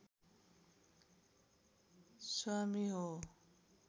स्वामी हो